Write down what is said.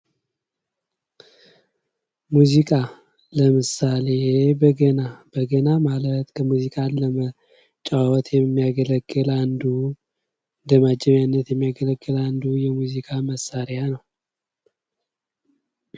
ሙዚቃ ለምሳሌ፦ በገና፤ በገና ማለት ከሙዚቃ ለመጫዎት የሚያገለግል አንዱ እንደ ማጀበያነት የሚያገለግል አንዱ የሙዚቃ መሳሪያ ነው።